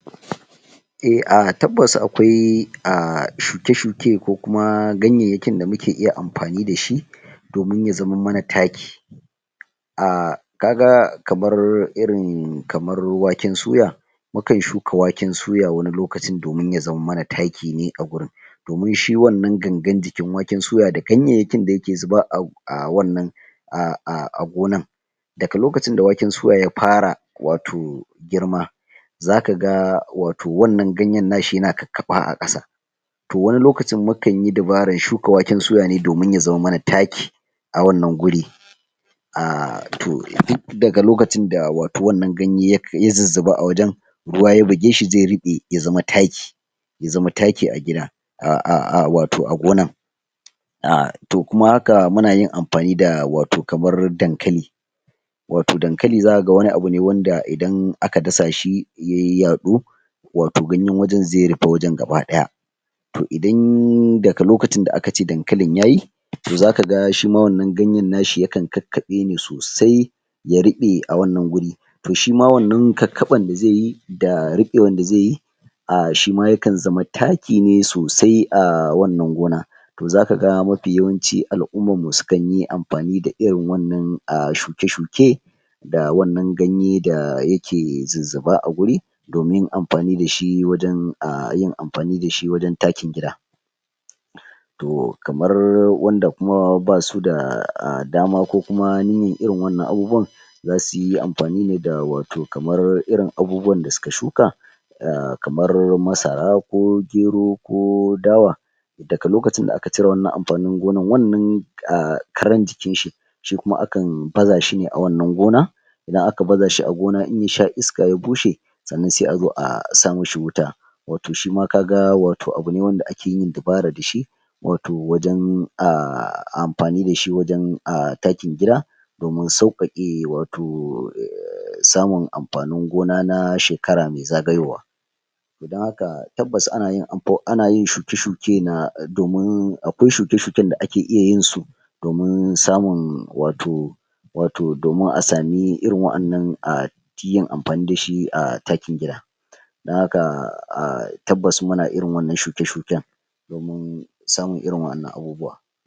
eh ah tabbas akwai shuke-shuke ko kuma ganyanyakin da muke iya amfani dashi domin ya zaman mana taaki ah kaga kamar irin kamar waken suya, mukan shuka waken suya wani lokacin domin ya zaman mana taaki ne a gurin domin shi wannan gangan jikin waken suyan da ganyanyakin da yake zuba a wannan gonan daga lokacin da waken suya ya fara wato girma za kaga wato wannan ganyan nashi yana kakkaɓa a kasa toh wani lokacin mukan yi dabaaranran shuka waken suya ne domin ya zame mana taaki a wannan guri toh dik daga lokacin da wato wannan ganye ya zizziba a wajan ruwa ya bigeshi ze riɓe ya zama taaki ya zama taaki a gida wato a gonan toh kuma haka munayin amfani da wato kamar dankali wato dankali zaka ga wani abu ne wanda idan aka gasaashi ya yaadu wato ganyan wajan ze rife wajan gaba daya toh idan daga lokacin da aka ce dankalin yayi toh za kaga shima wannan ganyan nashi yakan kakkaɓe ne sosai ya riɓe a wannan guri toh sim wannan kakkaban da zeyi da riɓewan da zeyi, sima yakan zama taaki ne sosai a wannan gona toh zaka ga mafi yawanci al'umman mu sukan yi amfani da irin wannan shuke-shuke da wannan ganye da yake zizziba a guri, domin amfani dashi wajan taakin gida toh kamar wanda kuma ba suda daama ko kuma niyyan irin wannan abubuwan za suyi amfani ne da wato kamar irin abubuwan da suka shuka kamar masara ko gero ko dawa, daka lokacin da aka cire wannan amfanin gonan wannan karan jikinshi shi kuma akan baza shine a wannan gona idan aka baza shi a gona in ya sha iska ya bushe sannan se azo a saa mishi wuta, wato shima kaga wato abu ne wanda ake yin dabara dashi wato wajan amfani dashi wajan taakin gida domin sauƙaƙe wato samun amfanin gona na shekara mai zagayowa toh dan hakan tabbas ana yin shuke-shuke domin akwai shuke-shuken da ake iya yin su domin samun wato domin a sami irin wa'annan amfani dashi a taakin gida dan haka tabbas muna irin wannan shuke-shuken domin samun irin wa'annan abubuwa.